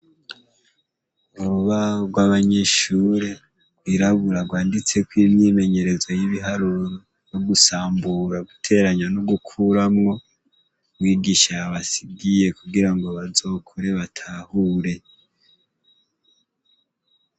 Urubaho rw'abanyeshure rwirabura rwanditseko imyimenyerezo y'ibiharuro n'ugusambura, guteranya no gukuramwo mwigisha yabasigiye kugirango bazokore batahure.